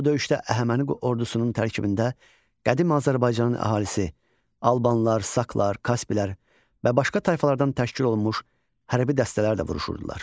Bu döyüşdə Əhəməni ordusunun tərkibində qədim Azərbaycanın əhalisi albanlar, saklar, kaspilər və başqa tayfalardan təşkil olunmuş hərbi dəstələr də vuruşurdular.